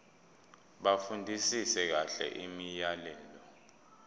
bafundisise kahle imiyalelo